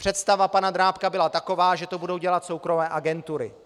Představa pana Drábka byla taková, že to budou dělat soukromé agentury.